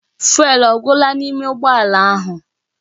Fụ́élú ọ gwụla n'ime ụgbọ ala ahụ?